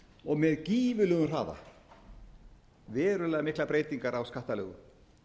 og með gífurlegum hraða verulega miklar breytingar á skattalögum